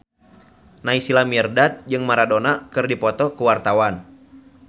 Naysila Mirdad jeung Maradona keur dipoto ku wartawan